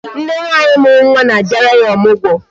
Nne nwaanyị mụrụ nwa na a bịara ya ọmụgwọ